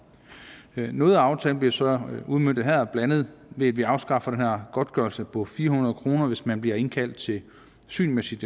noget af aftalen bliver så udmøntet her blandt andet ved at vi afskaffer den her godtgørelse på fire hundrede kr hvis man bliver indkaldt til syn med sit